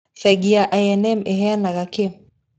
Bengi ya I&M ĩheanaga kĩĩ?